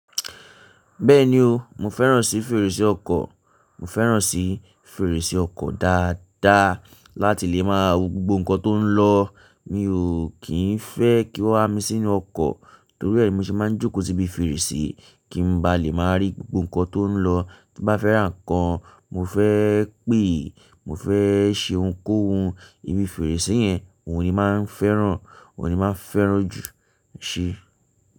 Bẹ́ẹ̀ni o, mo fẹ́ràn sí fèrèsé ọkọ̀, mo fẹ́ràn sí fèrèsé ọkọ̀ dáadáa láti lè maa wò gbogbo ǹkan tó ń lọ. Mi ò kìí fẹ́ kí wọ́n á mi sínú ọkọ̀ torí ẹ mi ṣe máa ń jókòó síbi fèrèsé kí n ba lè máa rí gbogbo ǹkan tó ń lọ. Bí bá fẹ́ rà nǹkan, mo fẹ́ pé è, mo fẹ́ ṣe ohunkóhun, ibi fèrèsé yẹn n ò ní máa ń fẹ́ràn, n ò ní má fẹ́ràn ju, ṣé?